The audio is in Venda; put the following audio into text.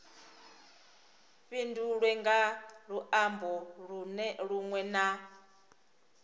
fhindulwe nga luambo lunwe na